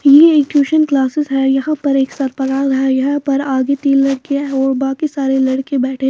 यह एक tuition classes है यहां पर एक यहां पर आगे तीन लड़कियां और बाकी सारे लड़के बैठे--